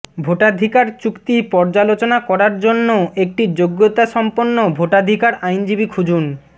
ভোটাধিকার চুক্তি পর্যালোচনা করার জন্য একটি যোগ্যতাসম্পন্ন ভোটাধিকার আইনজীবি খুঁজুন